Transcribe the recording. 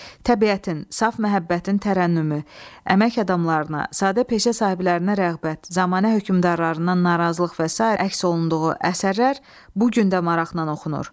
Təbiətin, saf məhəbbətin tərənnümü, əmək adamlarına, sadə peşə sahiblərinə rəğbət, zəmanə hökümdarlarından narazılıq və sair əks olunduğu əsərlər bu gün də maraqla oxunur.